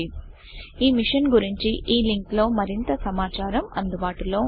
ఈ మిషన్ గురించి httpspoken tutorialorgNMEICT Intro link లో మరింత సమాచారము అందుబాటులో ఉంది